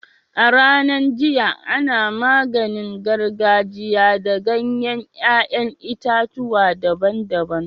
A'ranan jiya, ana maganin gargajia da ganyen yayan itatuwa daban-daban.